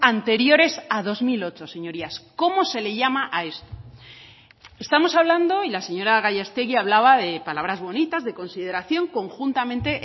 anteriores a dos mil ocho señorías cómo se le llama a esto estamos hablando y la señora gallástegui hablaba de palabras bonitas de consideración conjuntamente